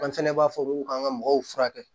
An fɛnɛ b'a fɔ ko k'an ka mɔgɔw furakɛ